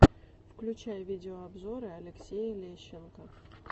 включай видеообзоры алексея лещенко